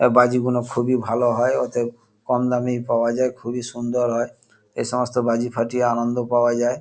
এ বাজি গুনো খুবই ভালো হয় ওতে কম দামি পাওয়া যায়। খুবই সুন্দর হয় এসমস্ত বাজি ফাটিয়ে আনন্দ পাওয়া যায়।